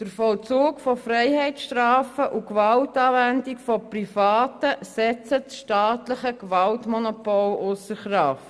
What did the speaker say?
Der Vollzug von Freiheitsstrafen und die Gewaltanwendung von Privaten setzen das staatliche Gewaltmonopol ausser Kraft.